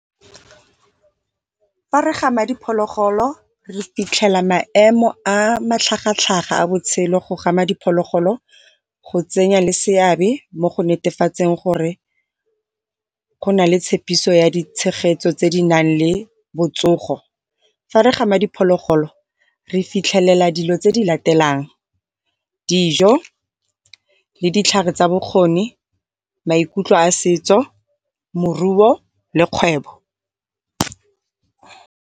Fa re gama diphologolo re fitlhela maemo a matlhaga-tlhaga a botshelo go gama diphologolo, go tsenya le seabe mo go netefatseng gore go na le tshepiso ya ditshegetso tse di nang le botsogo. Fa re gama diphologolo re fitlhelela dilo tse di latelang, dijo le ditlhare tsa bokgoni, maikutlo a setso, moruo le kgwebo.